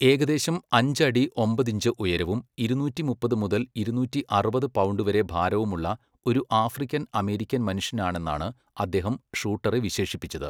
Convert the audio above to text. ഏകദേശം അഞ്ച് അടി ഒമ്പത് ഇഞ്ച് ഉയരവും ഇരുനൂറ്റി മുപ്പത് മുതൽ ഇരുനൂറ്റി അറുപത് പൗണ്ട് വരെ ഭാരവുമുള്ള ഒരു ആഫ്രിക്കൻ അമേരിക്കൻ മനുഷ്യനാണെന്നാണ് അദ്ദേഹം ഷൂട്ടറെ വിശേഷിപ്പിച്ചത്.